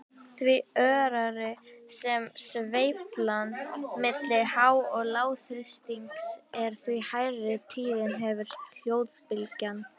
Því örari sem sveiflan milli há- og lágþrýstings er, því hærri tíðni hefur hljóðbylgjan.